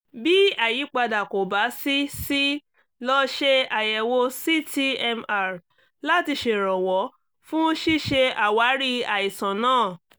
bí àyípadà kò bá sí sí lọ ṣe àyẹ̀wò ct mr láti ṣèrànwọ́ fún ṣíṣe àwárí àìsàn náà